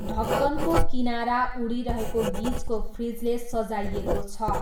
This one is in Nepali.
ढक्कनको किनारा उडिरहेको गिजको फ्रिजले सजाइएको छ।